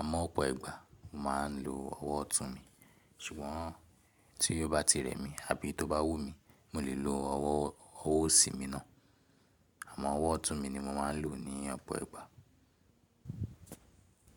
àmọ́ ọ̀pọ̀ ìgbà mo ma n lo ọwọ ọtun mi, ṣùgbọ́n tí ó bá ti rẹ̀ mí àbí tó bá wù mí, mo lè lo ọwọ òsì mi náà, àmọ́ ọwọ ọtun mi ni mo ma n lo ní ọ̀pọ̀ ìgbà.